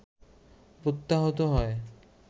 প্রত্যাহৃত হয়